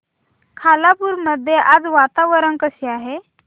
खालापूर मध्ये आज वातावरण कसे आहे